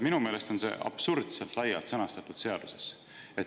Minu meelest on see seaduses absurdselt laialt sõnastatud.